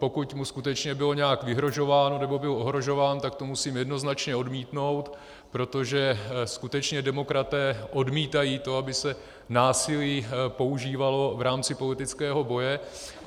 Pokud mu skutečně bylo nějak vyhrožováno nebo byl ohrožován, tak to musím jednoznačně odmítnout, protože skutečně demokraté odmítají to, aby se násilí používalo v rámci politického boje.